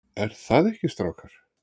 ER ÞAÐ EKKI, STRÁKAR?